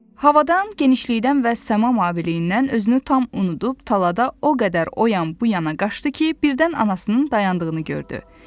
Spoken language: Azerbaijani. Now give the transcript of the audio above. Havadan, genişlikdən və səma maviliyindən özünü tam unudub, talada o qədər o yan bu yana qaçdı ki, birdən anasının dayandığını gördü.